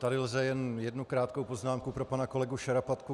Tady lze jen jednu krátkou poznámku pro pana kolegu Šarapatku.